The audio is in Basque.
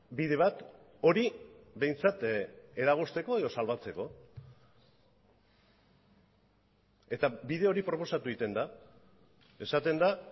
bide bat hori behintzat eragozteko edo salbatzeko eta bide hori proposatu egiten da esaten da